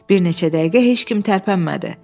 Bir neçə dəqiqə heç kim tərpənmədi.